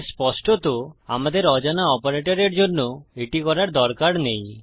তাই স্পষ্টত আমাদের অজানা অপারেটরের জন্য এটি করার দরকার নেই